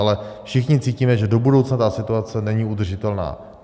Ale všichni cítíme, že do budoucna ta situace není udržitelná.